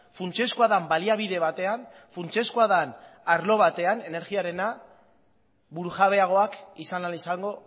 funtsezkoa den baliabide batean funtsezkoa den arlo batean energiarena burujabeagoak izan ahal izango